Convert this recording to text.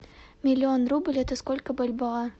миллион рубль это сколько бальбоа